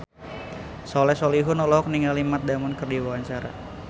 Soleh Solihun olohok ningali Matt Damon keur diwawancara